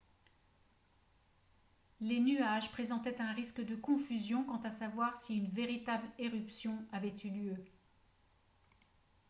les nuages présentaient un risque de confusion quant à savoir si une véritable éruption avait eu lieu